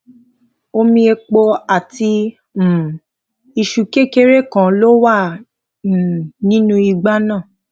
omi epo àti um iṣu kékeré kan ló wà um nínú igbá náà